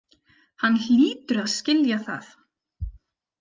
Hann hlýtur að skilja það.